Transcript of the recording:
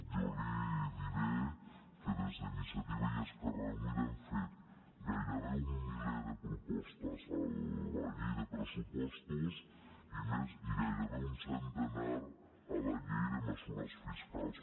jo li diré que des d’iniciativa i esquerra unida hem fet gairebé un miler de propostes a la llei de pressupostos i gairebé un centenar a la llei de mesures fiscals